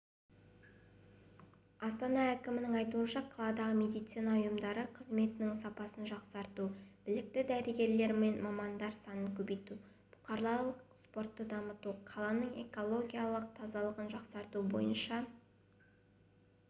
астана әкімінің айтуынша қаладағы медицина ұйымдары қызметінің сапасын жақсарту білікті дәрігер-мамандар санын көбейту бұқаралық спортты дамыту қаланың экологиялық тазалығын жақсарту бойынша